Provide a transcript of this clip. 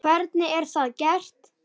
Hvernig er það gert?